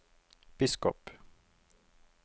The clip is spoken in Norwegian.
biskop